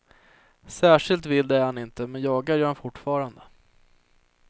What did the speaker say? Särskilt vild är han inte men jagar gör han fortfarande.